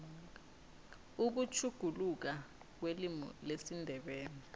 ukutjhuguluka kwelimu lesindebele